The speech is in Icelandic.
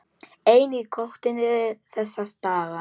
Einn í kotinu þessa dagana.